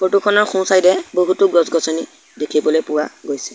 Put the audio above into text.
Photo খনৰ সোঁ-ছাইডে এ বহুতো গছ-গছনি দেখিবলৈ পোৱা গৈছে।